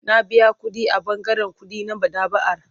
Na biya kuɗi a ɓangaren kuɗi na maɗaba'ar.